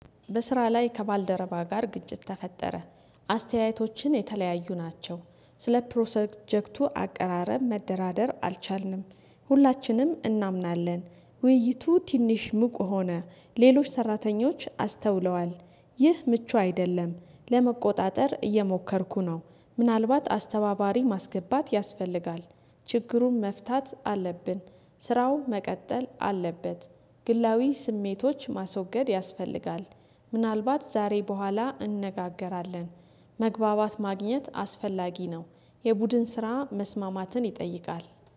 በስራ ላይ ከባልደረባ ጋር ግጭት ተፈጠረ። አስተያየታችን የተለያዩ ናቸው። ስለ ፕሮሰጀክቱ አቀራረብ መደራደር አልቻልንም። ሁላችንም እናምናለን። ውይይቱ ትንሽ ሙቅ ሆነ ሌሎች ሰራተኞች አስተውለዋል። ይህ ምቹ አይደለም። ለመቆጣጠር እየሞከርኩ ነው። ምናልባት አስተባባሪ ማስገባት ያስፈልጋል። ችግሩን መፍታት አለብን። ስራው መቀጠል አለበት። ግላዊ ስሜቶች ማስወገድ ያስፈልጋል። ምናልባት ዛሬ በኋላ እንነጋገራለን። መግባባት ማግኘት አስፈላጊ ነው። የቡድን ስራ መስማማትን ይጠይቃል